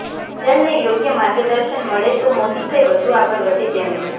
એન્જલને યોગ્ય માર્ગદર્શન મળે તો મોટી થઈ વધુ આગળ વધે તેમ છે